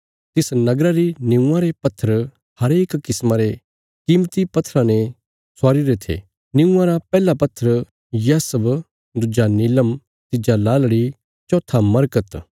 तिस नगरा री निऊंआं रे पत्थर हरेक किस्मा रे कीमती पत्थराँ ने स्वारी री थी निऊंआ रा पैहला पत्थर यशब दुज्जा नीलम तिज्जा लालड़ी चौथा मरकत